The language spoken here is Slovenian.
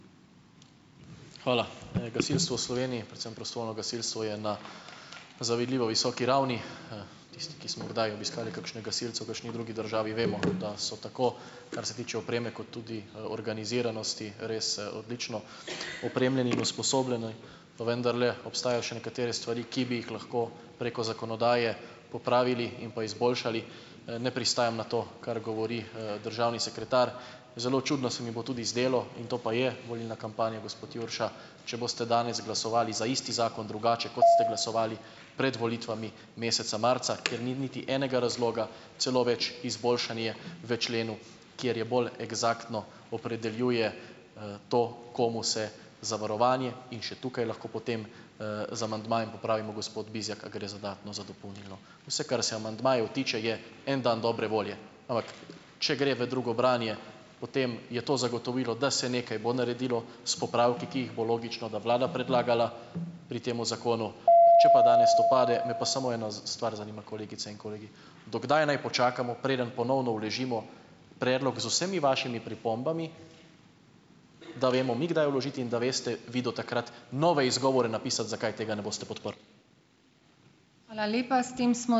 Hvala. Gasilstvo v Sloveniji, predvsem prostovoljno gasilstvo je na zavidljivo visoki ravni. Tisti, ki smo kdaj obiskali kakšne gasilce v kakšni drugi državi, vemo, da so tako, kar se tiče opreme, kot tudi, organiziranosti res, odlično opremljeni in usposobljeni, pa vendarle obstajajo še nekatere stvari, ki bi jih lahko preko zakonodaje popravili in pa izboljšali, ne pristajam na to, kar govori, državni sekretar. Zelo čudno se mi bo tudi zdelo in to pa je volilna kampanja, gospod Jurša, če boste danes glasovali za isti zakon drugače, kot ste glasovali pred volitvami, meseca marca, ker ni niti enega razloga, celo več, izboljšanje v členu, kjer je bolj eksaktno opredeljuje, to, komu se zavarovanje in še tukaj lahko potem, z amandmajem popravimo, gospod Bizjak, a gre za dodatno, za dopolnilno. Vse, kar se tiče je, amandmajev en dan dobre volje, ampak če gre v drugo branje, potem je to zagotovilo, da se nekaj bo naredilo s popravki, ki jih bo, logično, da vlada predlagala pri tem zakonu. Če pa danes to pade, me pa samo ena z stvar zanima, kolegice in kolegi. Do kdaj naj počakamo, preden ponovno vložimo predlog z vsemi vašimi pripombami, da vemo mi, kdaj vložiti in da veste vi do takrat nove izgovore napisati, zakaj tega ne boste podprli.